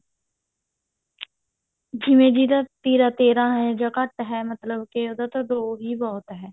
ਜਿਵੇਂ ਜਿਹਦਾ ਤੀਰਾ ਤੇਰਾਂ ਹੈ ਜਾਂ ਘੱਟ ਹੈ ਮਤਲਬ ਉਹਦਾ ਤਾਂ ਦੋ ਵੀ ਬਹੁਤ ਹੈ